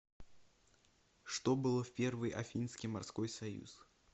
что было в первый афинский морской союз